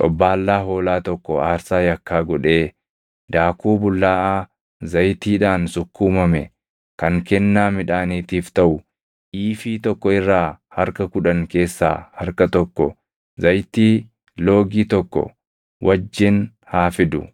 xobbaallaa hoolaa tokko aarsaa yakkaa godhee daakuu bullaaʼaa zayitiidhaan sukkuumame kan kennaa midhaaniitiif taʼu iifii tokko irraa harka kudhan keessaa harka tokko zayitii loogii tokko wajjin haa fidu;